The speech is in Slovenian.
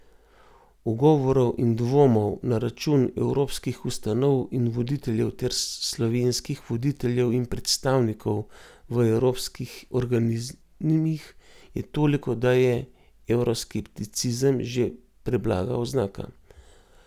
Ugovorov in dvomov na račun evropskih ustanov in voditeljev ter slovenskih voditeljev in predstavnikov v evropskih organizmih je toliko, da je evroskepticizem že preblaga oznaka.